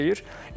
Nə deyir?